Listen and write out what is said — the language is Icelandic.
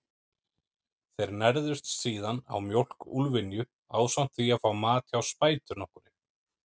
Þeir nærðust síðan á mjólk úlfynju, ásamt því að fá mat hjá spætu nokkurri.